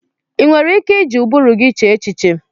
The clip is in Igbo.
Ị nwere ike iji ụbụrụ gị chee echiche?